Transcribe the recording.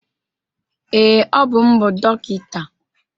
Ee, Ọ bụ m bụ dọkịta.